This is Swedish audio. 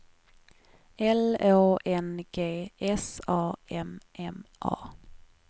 L Å N G S A M M A